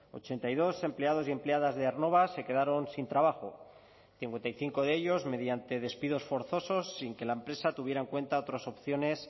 ochenta y dos empleados y empleadas de aernnova se quedaron sin trabajo cincuenta y cinco de ellos mediante despidos forzosos sin que la empresa tuviera en cuenta otras opciones